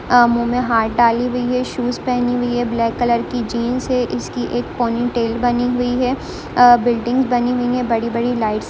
आ मुँह मे हाथ डाली हुइ है शुज पहनी हुई है। ब्लेक कलर की जिन्स है इसकी एक पोनिटेल बनी हुई है अ बिल्डिंग बनी हुइ है। बडी बडी लाइट --